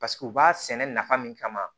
Paseke u b'a sɛnɛ nafa min kama